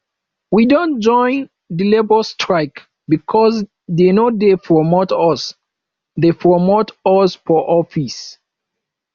we don join di labour strike because dey no dey promote us dey promote us for office